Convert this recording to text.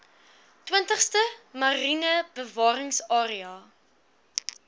twintigste mariene bewaringsarea